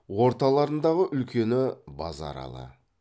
орталарындағы үлкені базаралы